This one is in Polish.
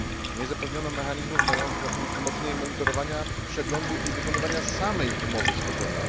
Nie zapewniono mechanizmów mających na celu wzmocnienie monitorowania, przeglądu i wykonywania samej umowy z Kotonu.